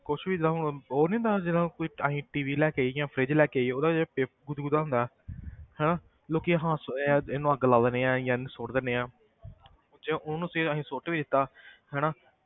ਕੁਛ ਵੀ ਜਿੱਦਾਂ ਹੁਣ ਉਹ ਨੀ ਹੁੰਦਾ ਜਦੋਂ ਕੋਈ ਅਸੀਂ TV ਲੈ ਕੇ ਆਈਏ ਜਾਂ fridge ਲੈ ਕੇ ਆਈਏ ਉਹਦਾ ਜਿਹੜਾ ਪੇ~ ਗੁਦਗੁਦਾ ਹੁੰਦਾ ਹਨਾ ਲੋਕੀ ਇਹ ਆ ਇਹਨੂੰ ਅੱਗ ਲਾ ਦਿਨੇ ਆਂ ਜਾਂ ਇਹਨੂੰ ਸੁੱਟ ਦਿਨੇ ਆਂ ਜੇ ਉਹਨੂੰ ਅਸੀਂ ਅਸੀਂ ਸੁੱਟ ਵੀ ਦਿੱਤਾ ਹਨਾ